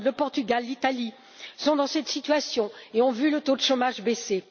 L'Irlande, le Portugal, l'Italie sont dans cette situation et ont vu le taux de chômage baisser.